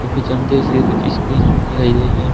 और पीछे हम कुछ स्क्रीन दिखाई दे रही है।